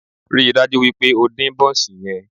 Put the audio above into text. Ríi dájú wípé o dín bónsì yen